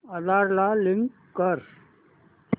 आधार ला लिंक कर